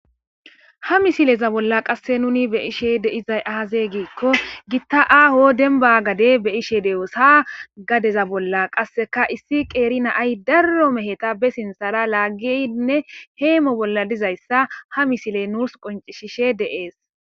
Ha misileza bolla qase nun be'ashe de'iza aze gikko gita aho denba gade be'ashe de'oso ha gadeza bolla qasekka issi qeri na'ayi daro meheta be sinthara lagidinne hemo bolla dizaysa ha misiley nusu qoncisishe de'ese